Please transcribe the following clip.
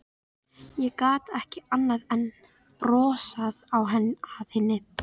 Ég gat ekki annað en brosað að henni.